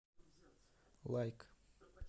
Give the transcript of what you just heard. лайк